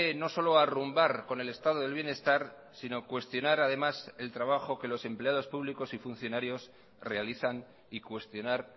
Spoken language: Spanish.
no solo arrumbar con el estado del bienestar sino cuestionar además el trabajo que los empleados públicos y funcionarios realizan y cuestionar